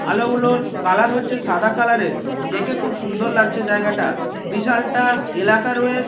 আলোগুলোর colour হচ্ছে সাদা colour -এর দেখে খুব সুন্দর লাগছে জায়গাটা বিশালটা এলাকা রয়ে--